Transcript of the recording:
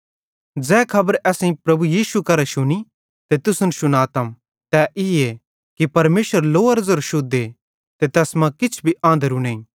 ज़ै खबर असेईं प्रभु यीशु करां शुनी ते तुसन शुनातम तै ईए कि परमेशर लोअरो ज़ेरो शुद्धे ते तैस मां किछ भी आंधरू बुराई नईं